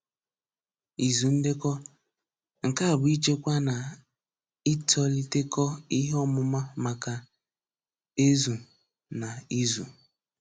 Ịzù Ndekọ: Nke a bụ́ ịchekwa na ìtòlitékọ ìhèọ̀mùmà maka ézù na ézù.